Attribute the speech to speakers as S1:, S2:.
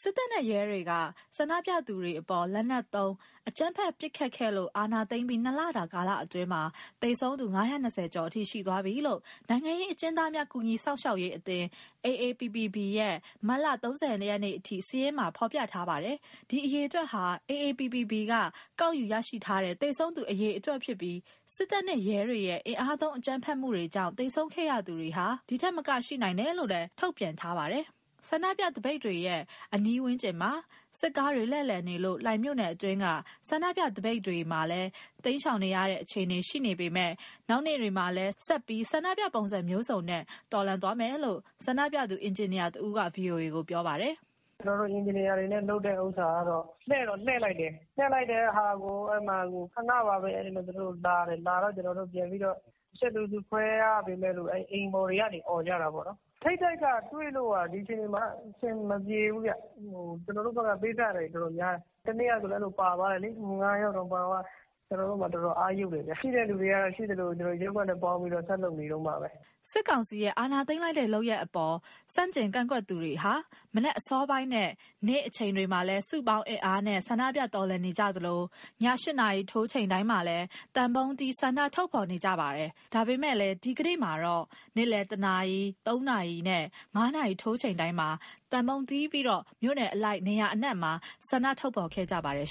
S1: စစ်တပ်နဲ့ ရဲတွေက ဆန္ဒပြသူတွေအပေါ် လက်နက်တွေသုံး အကြမ်းဖက်ပစ်ခတ်လို့ အာဏာသိမ်းပြီး ၂လတာကာလအတွင်းမှာ သေဆုံးသူ ၅၂၀ ကျော်အထိ ရှိသွားပြီလို့ နိုင်ငံရေးအကျဉ်းသားများ ကူညီစောင့်ရှောက်ရေးအသင်း AAPPB ရဲ့ မတ်လ ၃၀ ရက်အထိ စာရင်းမှာ ဖော်ပြထားပါတယ်။ ဒီအရေအတွက်ဟာ AAPPB က ကောက်ယူရရှိထားတဲ့ သေဆုံးသူအရေအတွက်ဖြစ်ပြီး၊ စစ်တပ်နဲ့ ရဲတွေရဲ့ အင်အားသုံးအကြမ်းဖက်မှုကြောင့် သေဆုံးခဲ့ရသူတွေဟာ ဒီထက်မက ရှိနိုင်တယ်လို့လည်း ထုတ်ပြန်ထားပါတယ်။ ဆန္ဒပြသပိတ်တွေရဲ့ အနီးဝန်းကျင်မှာ စစ်ကားတွေလှည့်လည်နေလို့ လှိုင်မြို့နယ်တွင်းက ဆန္ဒပြသပိတ်တွေမှာလည်း ရှောင်တိမ်းရတဲ့အခြေအနေရှိနေပေမဲ့ နောက်နေ့တွေမှာလည်း ဆက်ပြီးဆန္ဒပြပုံစံမျိုးစုံနဲ့ တော်လှန်သွားဦးမယ်လို့ ဆန္ဒပြသူ အင်ဂျင်နီယာတဦးက VOA ကိုပြောပါတယ်။ "
S2: ကျနော်တို့ အင်ဂျင်နီယာတွေနဲ့ လုပ်တဲ့ဥစ္စာကတော့ လှည့်တော့လှည့်လိုက်တယ်။ သပိတ်လှည့်လိုက်တဲ့ဟာကို ခဏပါပဲ၊ သူတို့လာတယ်။ သူတို့လာတော့ ကျနော်တို့ တချက်လူစုခွဲရပေမဲ့ အိမ်ပေါ်တွေကနေ အော်ကြတာပေါ့နော်။ ထိပ်တိုက်တွေ့ဖို့က ဒီအခြေအနေမှာက အဆင်မပြေဘူးဗျ။ ကျနော်တို့ဘက်က ပေးဆပ်ရတာတွေ တော်တော်များတယ်။ တနေ့ကဆိုရင်လည်း ၅ယောက်တောင် ပါသွားတယ်။ ကျနော်တို့မှာ တော်တော်အားယုတ်တယ်ဗျ။ ရှိတဲ့သူတွေကတော့ ရှိသလို ရပ်ကွက်နဲ့ပေါင်းပြီးတော့ ဆက်လုပ်နေတုန်းပါပဲ။"
S1: စစ်ကောင်စီရဲ့ အာဏာသိမ်းတဲ့လုပ်ရပ်အပေါ်ဆန့်ကျင်ကန့်ကွက်သူတွေဟာ မနက်အစောပိုင်းနဲ့ နေ့အချိန်တွေမှာ စုပေါင်းအင်အားနဲ့ ဆန္ဒပြတော်လှန်နေကြသလို၊ ည ၈နာရီထိုးချိန်တိုင်းမှာလည်း သံပုံးတီးပြီး ဆန္ဒဖော်ထုတ်နေကြတာပါ။ ဒါပေမဲ့လည်း ဒီကနေ့မှာတော့ နေ့လည် ၁နာရီ၊ ၃နာရီနဲ့ ၅နာရီထိုးချိန်တိုင်းမှာ သံပုံးတီးပြီးတော့ မြို့နယ်အလိုက် နေရာအနှံ့မှာ ဆန္ဒဖော်ထုတ်ခဲ့ကြပါတယ်